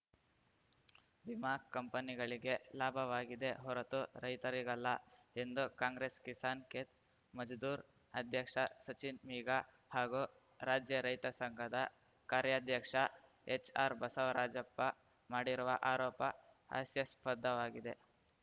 ವಿಮಾ ಕಂಪನಿಗಳಿಗೆ ಲಾಭವಾಗಿದೆ ಹೊರತು ರೈತರಿಗಲ್ಲ ಎಂದು ಕಾಂಗ್ರೆಸ್‌ ಕಿಸಾನ್‌ ಖೇತ್‌ ಮಜ್ದೂರ್ ಅಧ್ಯಕ್ಷ ಸಚಿನ್‌ ಮೀಗಾ ಹಾಗೂ ರಾಜ್ಯ ರೈತ ಸಂಘದ ಕಾರ್ಯಾಧ್ಯಕ್ಷ ಎಚ್‌ಆರ್‌ಬಸವರಾಜಪ್ಪ ಮಾಡಿರುವ ಆರೋಪ ಹಾಸ್ಯಾಸ್ಪದವಾಗಿದೆ